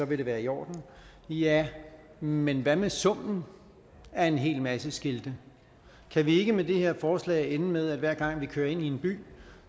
vil det være i orden ja men hvad med summen af en hel masse skilte kan vi ikke med det her forslag ende med at hver gang vi kører ind i en by